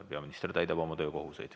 Peaminister täidab oma töökohustusi.